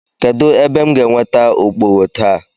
Kedụ ebe m ga-enweta okpogho taa?